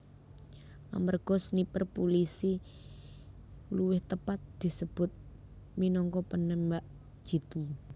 Amerga sniper pulisi luwih tepat disebut minangka penembak jitu